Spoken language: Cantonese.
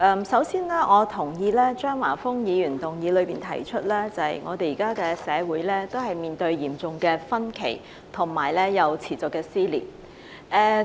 首先，我同意張華峰議員在議案中指出，現時社會出現嚴重分歧和持續撕裂。